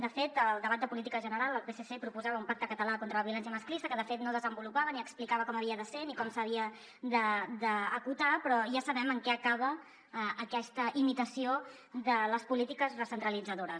de fet al debat de política general el psc proposava un pacte català contra la violència masclista que de fet no desenvolupava ni explicava com havia de ser ni com s’havia d’acotar però ja sabem en què acaba aquesta imitació de les polítiques recentralitzadores